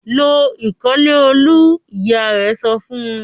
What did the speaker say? "Lo ìkọ́lẹ̀ Olú!" Ìyá rẹ̀ sọ fún un.